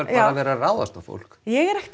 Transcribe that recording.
verið það að ráðast á fólk ég hef ekkert